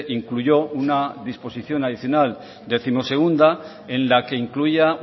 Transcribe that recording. incluyó una disposición adicional decimosegunda en la que incluía